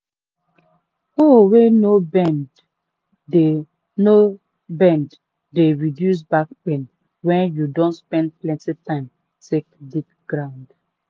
hoe wey no bend de no bend de reduce back pain wen you don spend plenty time take dig ground.